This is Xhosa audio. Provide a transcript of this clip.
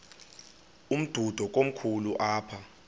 umdudo komkhulu apha